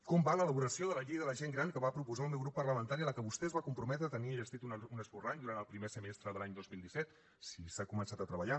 com va l’elaboració de la llei de la gent gran que va proposar el meu grup parlamentari i que vostè es va comprometre a tenir enllestit un esborrany durant el primer semestre de l’any dos mil disset si s’ha començat a treballar